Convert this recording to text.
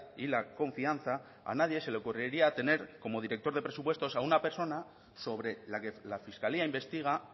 y la confianza a nadie ese le ocurría tener como director de presupuestos a una persona sobre la que la fiscalía investiga